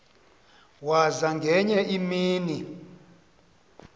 waza ngenye imini